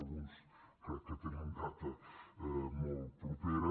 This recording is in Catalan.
alguns crec que tenen data molt propera